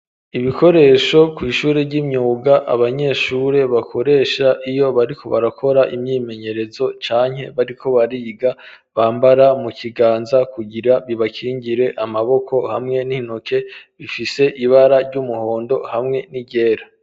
Ibikoresho kw'ishuri ry'imyuga abanyeshuri bakoresha iyo bariko barakora imyimenyerezo canke bariko bariga bambara mu kiganza kugira bibakingire amaboko hamwe n'intoke, bifise ibara ry'umuhondo hamwe n'iryera.